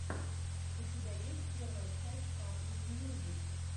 у тебя есть первая часть патрик мьюзик